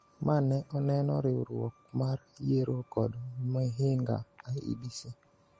ma ne oneno Riwruok mar Yiero kod Mihinga (IEBC)